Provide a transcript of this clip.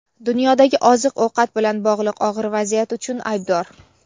dunyodagi oziq-ovqat bilan bog‘liq og‘ir vaziyat uchun aybdor.